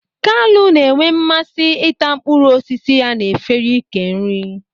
Kalu na-enwe mmasị ịta mkpụrụ osisi ya n'efere ị́kè nri.